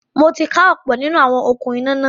Mo ti ká ọ̀pọ̀ nínú àwọn “okún iná” náà.